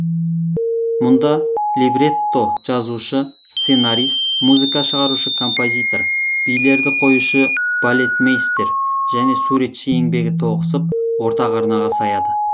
мұнда либретто жазушы сценарист музыка шығарушы композитор билерді қоюшы балетмейстер және суретші еңбегі тоғысып ортақ арнаға саяды